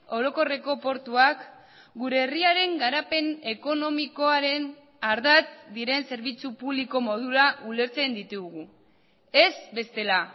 orokorreko portuak gure herriaren garapen ekonomikoaren ardatz diren zerbitzu publiko modura ulertzen ditugu ez bestela